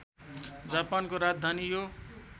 जापानको राजधानी यो